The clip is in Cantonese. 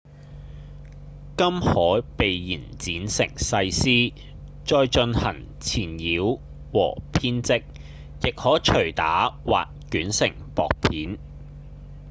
金可被延展成細絲再進行纏繞和編織亦可搥打或捲成薄片